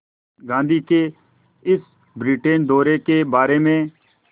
गांधी के इस ब्रिटेन दौरे के बारे में